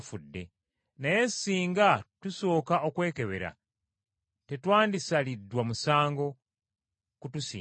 Naye singa tusooka okwekebera, tetwandisaliddwa musango kutusinga.